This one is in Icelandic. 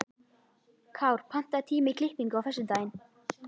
Kár, pantaðu tíma í klippingu á föstudaginn.